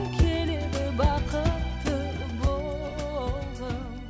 келеді бақытты болғым